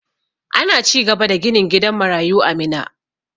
Ana cigaba da ginin gidan marayu a Minna.